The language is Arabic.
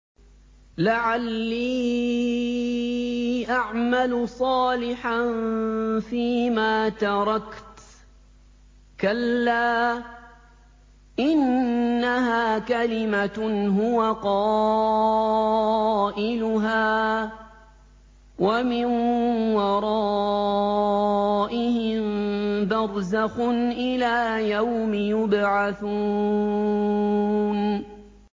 لَعَلِّي أَعْمَلُ صَالِحًا فِيمَا تَرَكْتُ ۚ كَلَّا ۚ إِنَّهَا كَلِمَةٌ هُوَ قَائِلُهَا ۖ وَمِن وَرَائِهِم بَرْزَخٌ إِلَىٰ يَوْمِ يُبْعَثُونَ